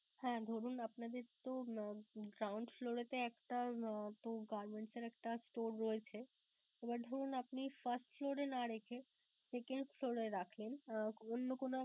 হ্যাঁ ধরুন আপনাদের তো ground floor এ তে একটার আহ তো garments এর একটা store রয়েছে, এবার ধরুন আপনি first floor এ না রেখে second floor এ রাখলেন অন্য কোন